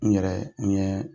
N yɛrɛ n ye